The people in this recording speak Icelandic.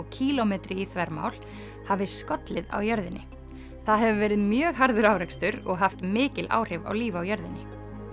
kílómetri í þvermál hafi skollið á jörðinni það hefur verið mjög harður árekstur og haft mikil áhrif á líf á jörðinni